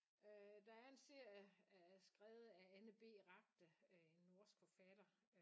Øh der er en serie skrevet af Anne B Ragde øh en norsk forfatter